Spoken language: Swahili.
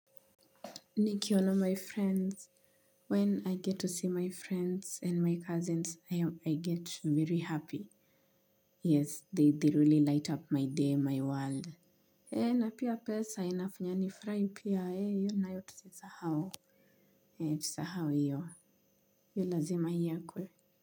Nikiona my friends. When I get to see my friends and my cousins, I get very happy. Yes, they really light up my day, my world. Ee, na pia pesa, inafanya nifrai pia, ee, io nayo tusisahao. Ee, tusahao iyo. Io lazima iekwe.